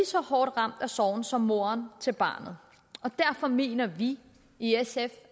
så hårdt ramt af sorgen som moderen til barnet og derfor mener vi i sf